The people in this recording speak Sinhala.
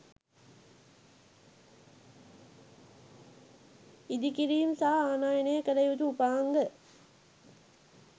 ඉදිරිකිරීම් සහ ආනයනය කළ යුතු උපාංග